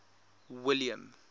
william